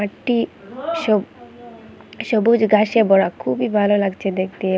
একটি স সবুজ ঘাসে ভরা খুবই ভালো লাগছে দেখতে।